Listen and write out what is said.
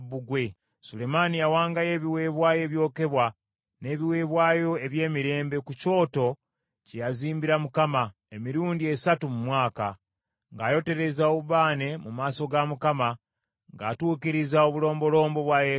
Sulemaani yawangayo ebiweebwayo ebyokebwa n’ebiweebwayo eby’emirembe ku kyoto kye yazimbira Mukama , emirundi esatu mu mwaka, ng’ayotereza obubaane mu maaso ga Mukama , ng’atuukiriza obulombolombo bwa yeekaalu.